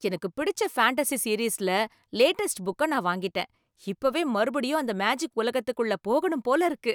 எனக்குப் பிடிச்ச ஃபேண்டஸி சீரீஸ்ல லேட்டஸ்ட் புக்க நான் வாங்கிட்டேன். இப்பவே மறுபடியும் அந்த மேஜிக் உலகத்துக்குள்ள போகணும் போல இருக்கு!